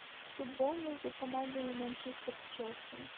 футбол между командами манчестер челси